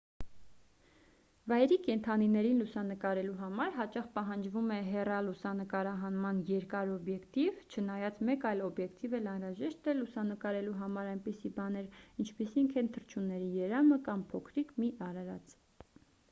վայրի կենդանիներին լուսանկարելու համար հաճախ պահանջվում է հեռալուսանկարահանման երկար օբյեկտիվ չնայած մեկ այլ օբյկետիվ էլ անհրաժեշտ է լուսանկարելու համար այնպիսի բաներ ինչպիսիք են թռչունների երամը կամ փոքրիկ մի արարած